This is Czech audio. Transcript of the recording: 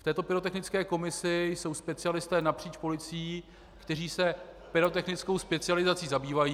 V této pyrotechnické komisi jsou specialisté napříč policií, kteří se pyrotechnickou specializací zabývají...